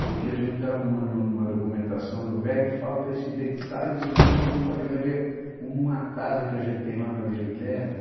Porque a gente está arrumando uma documentação do velho e falta esse detalhe, senão a gente não pode vender uma casa que a gente tem lá na Vila Guilherme.